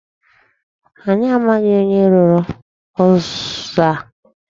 Anyị amaghị onye rụrụ ụzọ a.